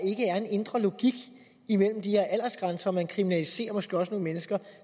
en indre logik imellem de her aldersgrænser og man kriminaliserer måske også nogle mennesker